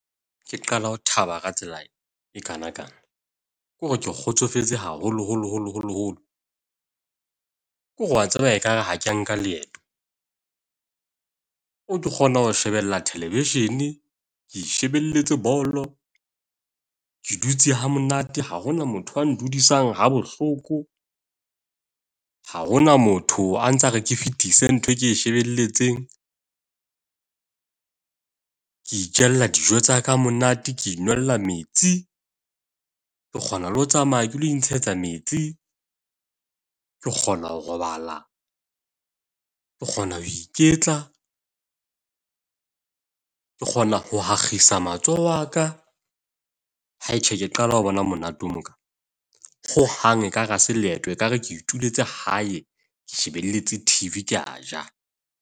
Ke qala ho thaba ka tsela ekaanakana, kore ke kgotsofetse haholo holo holo holo holo. Ke hore wa tseba ekare ha ke nka leeto, o kgona ho shebella television, ke itjhebelletse bolo. Ke dutse ha monate, ha hona motho wa ndudisa ha bohloko, ha hona motho a ntsa re ke fetise ntho e ke shebelletsen. Ke itjella dijo tsa ka ha monate. Ke inwella mets. Ke kgona le ho tsamaya ke lo intshetsa metsi. Ke kgona ho robala, ke kgona ho iketla. Ke kgona ho ha nkgisa matsoho a ka. Hai tjhe, ke qala ho bona monate o mo . Hohang ekare ha se leeto. Ekare ke ituletse hae, ke shebelletse T_V, ke a ja.